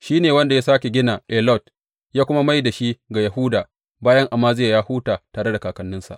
Shi ne wanda ya sāke gina Elot ya kuma mai da shi ga Yahuda bayan Amaziya ya huta tare da kakanninsa.